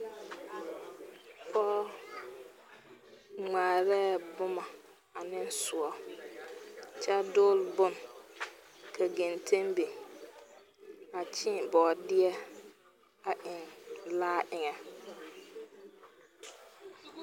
Pɔɔ ŋmaarɛɛ bomɔ aneŋ soɔ kyɛ dool bon ka genten bin. A kyeen bɔɔdeɛ a eŋ laa eŋɛ.